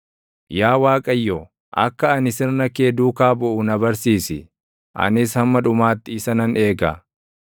Yaa Waaqayyo, akka ani sirna kee duukaa buʼu na barsiisi; anis hamma dhumaatti isa nan eega.